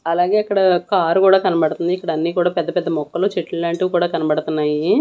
అలాగే అక్కడ కార్ గూడా కనబడతంది ఇక్కడ అన్నీ కూడా పెద్ద పెద్ద మొక్కలు చెట్లు లాంటివి కూడా కనబడతన్నాయి.